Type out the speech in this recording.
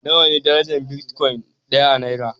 Nawa ne darajar bitcoin ɗaya a naira?